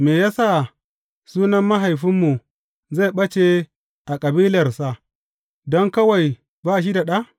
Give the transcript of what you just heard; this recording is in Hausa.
Me ya sa sunan mahaifinmu zai ɓace a kabilarsa don kawai ba shi da ɗa?